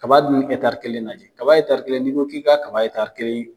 Kaba dun kelen lajɛ, kaba kelen ni ko ki ka kaba kelen .